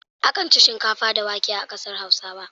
Akan ci shinkafa da wake a ƙasar Hausa.